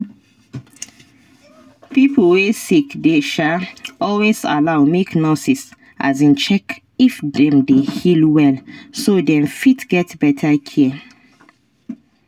pipo wey sick dey um always allow make nurses um check if dem dey heal well so dem fit get better care